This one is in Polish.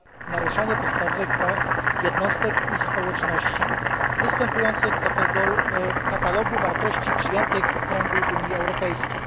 naruszanie podstawowych praw jednostek i społeczności występujących w katalogu wartości przyjętych w kręgu Unii Europejskiej.